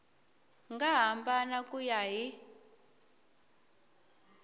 nga hambana ku ya hi